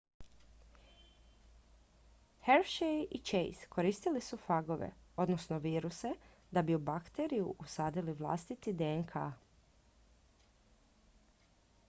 hershey i chase koristili su fagove odnosno viruse da bi u bakteriju usadili vlastiti dnk